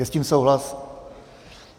Je s tím souhlas?